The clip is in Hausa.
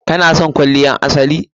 ki/ka na son kwalliyar asali?